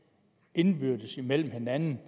indbyrdes mellem hinanden